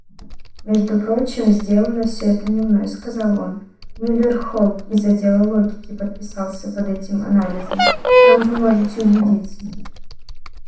между прочим сделано всё это не мной сказал он мюллер холк из отдела логики подписался под этим анализом в чём вы можете убедиться